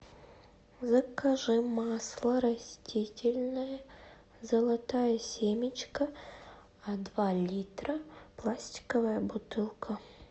закажи масло растительное золотая семечка два литра пластиковая бутылка